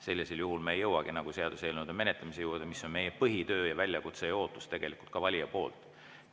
Sellisel juhul me ei jõuakski seaduseelnõude menetlemise juurde, mis on meie põhitöö ja väljakutse ning tegelikult ka valija ootus.